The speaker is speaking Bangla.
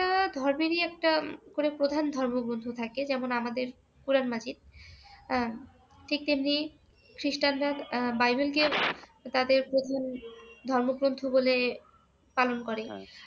আহ ধর্মেরই একটা প্রধান ধর্মগ্রন্থ থাকে ।যেমন আমাদের কোরান মাজীদ আহ ঠিক তেমনি খ্রীষ্টানদের আহ বাইবেলকে তাদের প্রধান ধর্মগ্রন্থ বলে পালন করে।